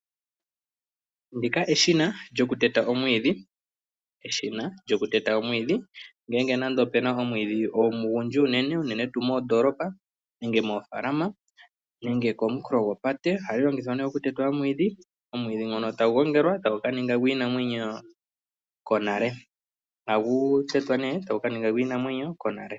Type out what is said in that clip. Opuna omashina go kuteta omwiidhi, uuna puna omwiidhi omunene unene tuu moondoolopa nenge moofalama nenge kooha dhopate. Omwiidhi ohagu tetwa po etagu gongelwa gu kaninge gwinamwenyo konale.